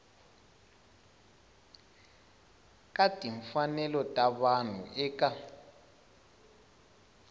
ka timfanelo ta vanhu eka